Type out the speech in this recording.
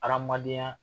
Adamadenya